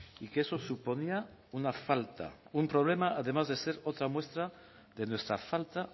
y que eso suponía una falta un problema además de ser otra muestra de nuestra falta